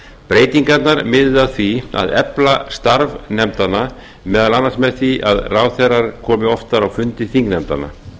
breytingarnar miðuðu að því að efla starf nefndanna meðal annars með því að ráðherrar komi oftar á fundi þingnefndanna